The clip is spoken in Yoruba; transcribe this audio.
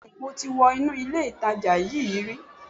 Bẹ́ẹ̀ni mo ti wọ inú ilè ìtajà yíí rí